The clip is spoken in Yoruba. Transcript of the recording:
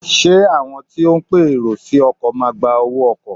Ṣé àwọn tí ó ń pe èrò sí ọkọ̀ máa gba owó ọkọ̀?